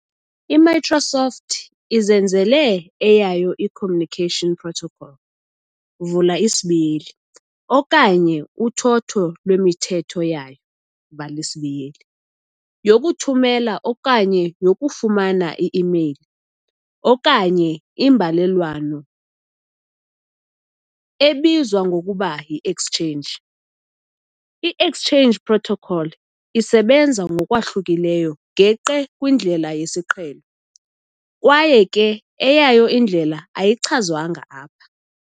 I-Microsoft izenzele eyayo i-"communication protocol", okanye uthotho lwemithetho yayo, yokuthumela okanye yokufumana i-mail okanye imbalelwano, ezizwa ngokuba yi-"Exchange". I-exchange protocol isebenza ngokwahlukile geqe kwindlela yesiqhelo kwaye ke eyayo indlela ayichazwanga apha.